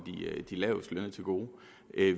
de lavestlønnede til gode